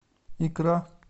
икра